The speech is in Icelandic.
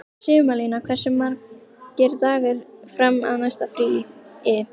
Sumarlína, hversu margir dagar fram að næsta fríi?